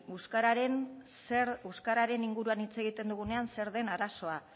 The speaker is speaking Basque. euskararen zer euskararen inguruan hitz egiten dugunean zer den arazoa